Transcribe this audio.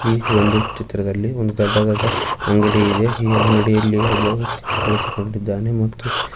ಈ ಒಂದು ಚಿತ್ರದಲ್ಲಿ ಒಂದು ದೊಡ್ಡದಾದ ಅಂಗಡಿ ಇದೆ ಈ ಅಂಗಡಿಯಲ್ಲಿ ಒಬ್ಬ ವ್ಯಕ್ತಿ ಕುಳಿತುಕೊಂಡಿದ್ದಾನೆ ಮತ್ತು.